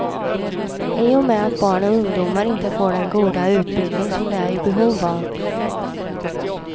I och med att barn och ungdomar inte får den goda utbildning som de är i behov av.